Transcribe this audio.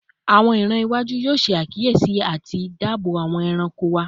Awọn iran iwaju yoo ṣe akiyesi ati daabobo awọn ẹranko wa